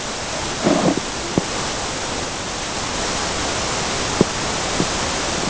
Um það snýst málið.